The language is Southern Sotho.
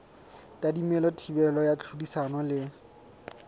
tadimilwe thibelo ya tlhodisano le